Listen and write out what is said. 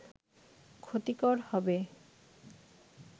ক্ষতিকর হবে